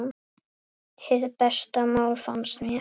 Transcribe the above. Hið besta mál, fannst mér.